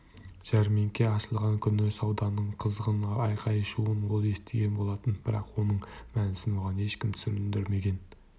жәрмеңке ашылған күнгі сауданың қызғын айқай-шуын ол естіген болатын бірақ оның мәнісін оған ешкім түсіндірмеген